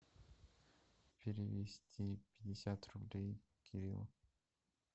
перевести пятьдесят рублей кириллу